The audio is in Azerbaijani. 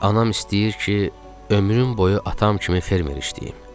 Anam istəyir ki, ömrüm boyu atam kimi fermer işləyim.